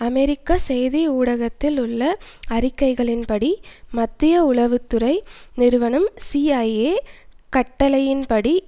அமெரிக்க செய்தி ஊடகத்தில் உள்ள அறிக்கைகளின்படி மத்திய உளவு துறை நிறுவனம் சிஐஏ கட்டளையின்படி